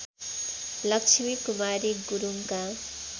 Lakshmi Kumari गुरुङका